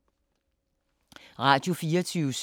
Radio24syv